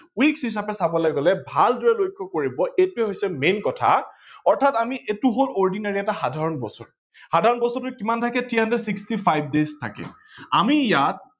weeks হিচাপে চাবলৈ গলে ভালদৰে লক্ষ্য কৰিব এইটোৱে হৈছে main কথা অৰ্থাৎ এইটো হল ordinary এটা সাধাৰন বছৰ, সাধাৰন বছৰত কিমান থাকে three hundred sixty five থাকে। আমি ইয়াত